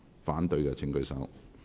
反對的請舉手。